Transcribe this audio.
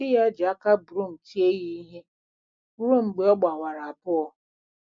Di ya ji aka broom tie ya ihe ruo mgbe ọ gbawara abụọ.